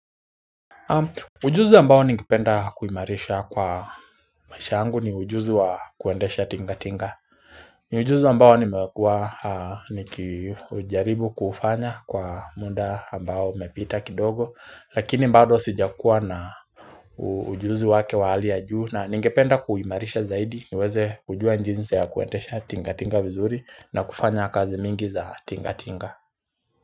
Ujuzi ambao ningependa kuimarisha kwa maisha yangu ni ujuzi wa kuendesha tinga tinga Ujuzi ambao nimekua nikijaribu kufanya kwa mda ambao umepita kidogo lakini bado sijakua na ujuzi wake wa hali ya juu na ningependa kuimarisha zaidi niweze kujua jinsi ya kuendesha tinga tinga vizuri na kufanya kazi mingi za tinga tinga.